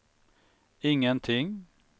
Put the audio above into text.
ingenting